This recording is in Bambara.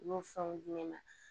U y'o fɛnw di ne ma